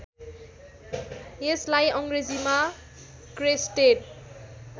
यसलाई अङ्ग्रेजीमा क्रेस्टेड